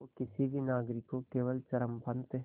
वो किसी भी नागरिक को केवल चरमपंथ